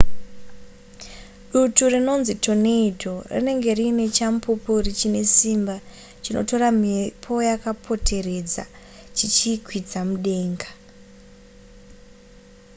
dutu rinonzi tornado rinenge riine chamupupuri chine simba chinotora mhepo yakapoteredza chichiikwidza mudenga